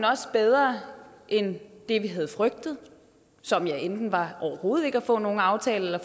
også bedre end det vi havde frygtet som enten var overhovedet ikke at få nogen aftale eller